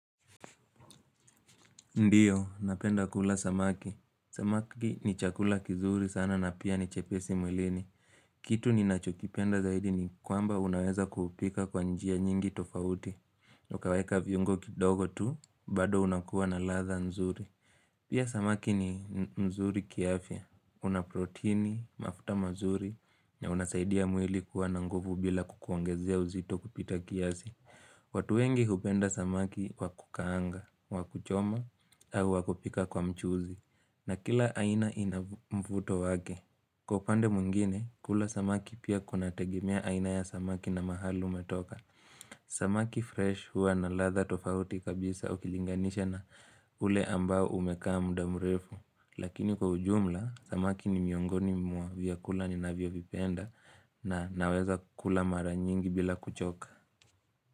Ndiyo, napenda kula samaki. Samaki ni chakula kizuri sana na pia ni chepesi mwilini. Kitu ni nacho kipenda zaidi ni kwamba unaweza kuhupika kwa njia nyingi tofauti. Ukaweka viungo kidogo tu, bado unakuwa na ladha nzuri. Pia samaki ni nzuri kiafya. Una proteini, mafuta mazuri, na unasaidia mwili kuwa na nguvu bila kukuongezea uzito kupita kiasi. Watu wengi hupenda samaki wa kukaanga, wakuchoma, au wakupika kwa mchuzi na kila aina inamvuto wake. Kwa upande mwingine, kula samaki pia kuna tegemea aina ya samaki na mahali umetoka. Samaki fresh hua na latha tofauti kabisa ukilinganisha na ule ambao umekaa mudamurefu. Lakini kwa ujumla, samaki ni miongoni mwa vyakula ni navyo vipenda na naweza kula maranyingi bila kuchoka.